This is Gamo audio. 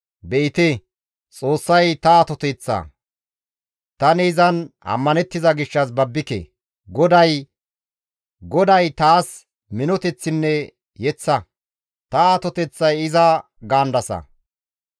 ‹Be7ite, Xoossay ta atoteththa; tani izan ammanettiza gishshas babbike; GODAY, Xoossay taas minoteththinne yeththa; ta atoteththay iza› gaandasa.